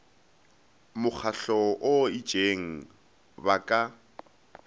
mokgahlong o itšeng ba ka